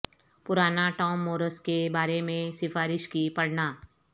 پرانا Tom Morris کے بارے میں سفارش کی پڑھنا